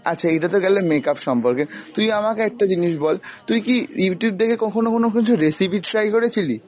আচ্ছা এটা তো গেলো makeup সম্পর্কে, তুই আমাকে একটা জিনিস বল তুই কি Youtube দেখে কখনও কোন কিছু recipe try করেছিলি?